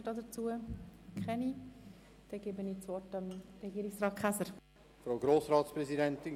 Deshalb erteile ich Regierungsrat Käser das Wort.